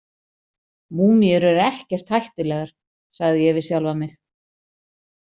Múmíur eru ekkert hættulegar, sagði ég við sjálfa mig.